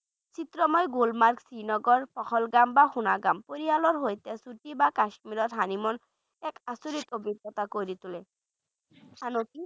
বৈচিত্ৰময় গুলমাৰ্গ, শ্ৰীনগৰ, পহলগাম বা সোণগাম পৰিয়ালৰ সৈতে ছুটি বা কাস্মীৰত honeymoon এক আচৰিত অভিজ্ঞতা কৰি তোলে আনকি